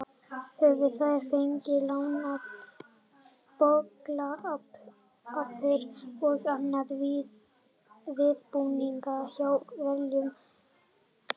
Höfðu þær fengið lánuð bollapör og annan viðbúnað hjá velviljuðum grönnum.